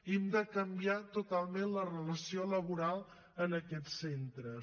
hem de canviar totalment la relació laboral en aquests centres